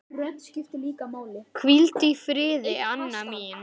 Hvíldu í friði, Anna mín.